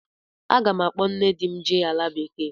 Aga m akpọ nne di m jee ala bekee.